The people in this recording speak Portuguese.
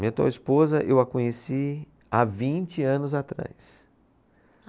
Minha atual esposa, eu a conheci há vinte anos atrás.